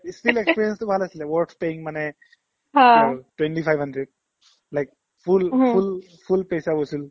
ই still experience টো ভাল আছিলে worth paying মানে twenty-five hundred like full full full paisa vasool